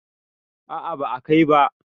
a a ba a Kai ba